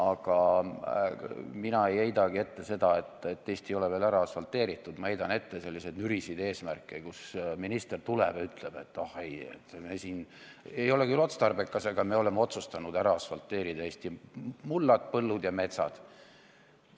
Ega mina ei heidagi ette seda, et Eesti ei ole veel ära asfalteeritud, ma heidan ette selliseid nürisid eesmärke, kus minister tuleb ja ütleb, et oh ei, ei ole küll otstarbekas, aga me oleme otsustanud ära asfalteerida Eesti mullad, põllud ja metsad.